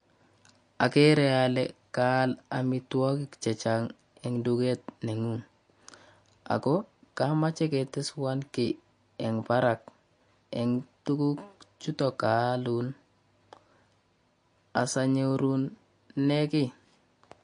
Ageere ale kaal amitwokik chechang eng duket neng'ung ako kamache keteswo kei eng barak eng tuguk chuto kaalun asonyorune keii.